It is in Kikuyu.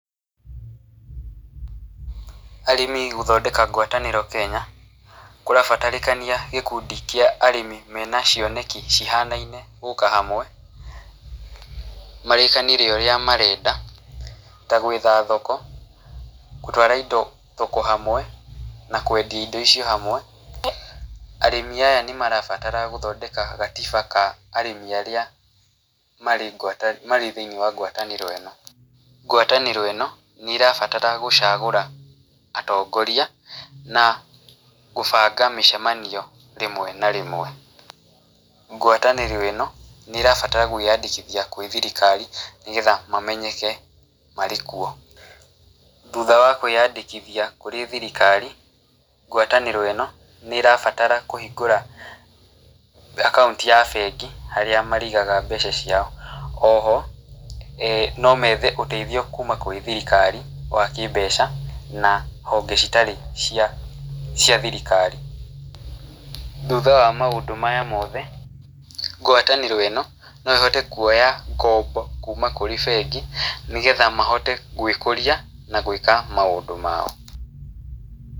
Arĩmi gũthondeka ngwatanĩro Kenya, kũrabatarĩkania gĩkundi kĩa arĩmi mena cioneki cihanaine gũka hamwe, marĩkanĩre ũrĩa marenda, ta gwetha thoko, gũtwara indo thoko hamwe, na kwendia indo ici hamwe. Arĩmi aya nĩ marabatara gũthondeka gatiba ka arĩmi arĩa marĩ thĩini wa ngwatanĩro ĩno. Ngwatanĩro ĩno, nĩ ĩrabatara gũcagũra atongoria, na gũbanga mĩcemanio rĩmwe na rĩmwe. Ngwatanĩro ĩno, nĩ ĩrabatara gwĩyandĩkithia kwĩ thirikari, nĩgetha mamenyeke marĩ kuo. Thutha wa kwĩyandĩkithia kũrĩ thirikari, ngwatanĩro ĩno, nĩ ĩrabatara kũhingũra akaunti ya bengi, harĩa marĩigaga mbeca ciao. Oho, no aah methe ũteithio kuuma kwĩ thirikari wa kĩmbeca, na honge citarĩ cia cia thirikari. Thutha wa maũndũ maya mothe, ngwatanĩro ĩno, no ĩhote kuoya ngombo kuuma kũrĩ bengi, nĩgetha mahote gwĩkũria, na gwĩka maũndũ mao.